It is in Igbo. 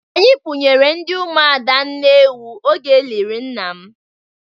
Anyi kpụnyere ndị Ụmụada nne ewu oge elịrị nna m.